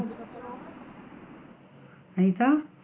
Anitha?